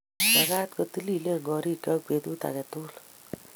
Magaat kotililen korikchook betut age tugul